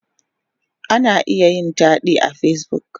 Ana iya yin taɗi a Facebook.